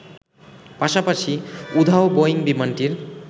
পাশাপাশি, উধাও বোয়িং বিমানটির